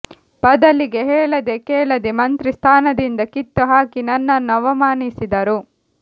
ಬದಲಿಗೆ ಹೇಳದೆ ಕೇಳದೆ ಮಂತ್ರಿ ಸ್ಥಾನದಿಂದ ಕಿತ್ತು ಹಾಕಿ ನನ್ನನ್ನು ಅವಮಾನಿಸಿದರು